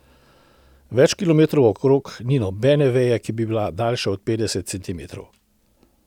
Več kilometrov naokrog ni nobene veje, ki bi bila daljša od petdesetih centimetrov.